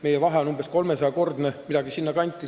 Meie vahe on umbes 300-kordne, midagi sinna kanti.